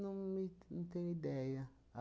Não me não tenho ideia.